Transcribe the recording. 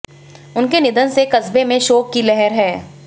उनके निधन से कस्बे में शोक की लहर है